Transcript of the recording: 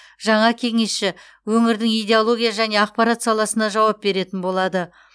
жаңа кеңесші өңірдің идеология және ақпарат саласына жауап беретін болады